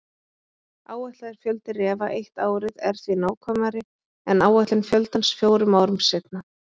Áætlaður fjöldi refa eitt árið er því nákvæmari en áætlun fjöldans fjórum árum seinna.